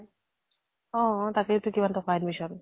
অ অ তাকেই তো কিমান টকা admission